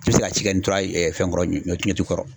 I bɛ se ka ci kɛ ntora yen fɛn kɔrɔ ɲɔ ɲɔ tu kɔrɔ.